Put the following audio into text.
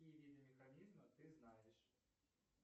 какие виды механизма ты знаешь